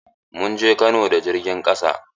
Mun je Kano da jirgin ƙasa.